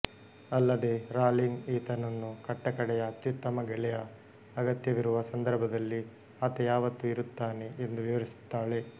ಅಲ್ಲದೆ ರಾಲಿಂಗ್ ಈತನನ್ನು ಕಟ್ಟಕಡೆಯ ಅತ್ಯುತ್ತಮ ಗೆಳೆಯ ಅಗತ್ಯವಿರುವ ಸಂದರ್ಭದಲ್ಲಿ ಆತ ಯಾವತ್ತೂ ಇರುತ್ತಾನೆ ಎಂದು ವಿವರಿಸುತ್ತಾಳೆ